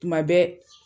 Tuma bɛɛ